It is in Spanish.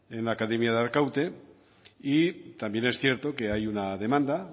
en la academia de arkaute y también es cierto que hay una demanda